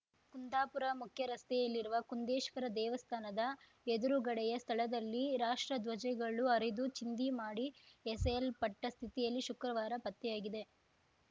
ಕುಂದಾಪುರ ಮುಖ್ಯ ರಸ್ತೆಯಲ್ಲಿರುವ ಕುಂದೇಶ್ವರ ದೇವಸ್ಥಾನದ ಎದುರುಗಡೆಯ ಸ್ಥಳದಲ್ಲಿ ರಾಷ್ಟ್ರಧ್ವಜಗಳು ಹರಿದು ಚಿಂದಿ ಮಾಡಿ ಎಸೆಯಲ್ಪಟ್ಟ ಸ್ಥಿತಿಯಲ್ಲಿ ಶುಕ್ರವಾರ ಪತ್ತೆಯಾಗಿದೆ